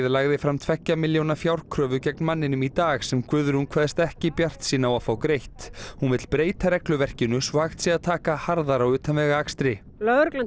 lagði fram tveggja milljóna fjárkröfu gegn manninum í dag sem Guðrún kveðst ekki bjartsýn á að fá greitt hún vill breyta regluverkinu svo hægt sé að taka harðar á utanvegaakstri lögreglan